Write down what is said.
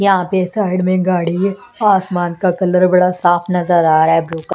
यहां पे साइड में गाड़ी है आसमान का कलर बड़ा साफ नजर आ रहा है ब्लू --